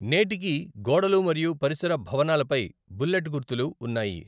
నేటికీ గోడలు మరియు పరిసర భవనాలపై బుల్లెట్ గుర్తులు ఉన్నాయి.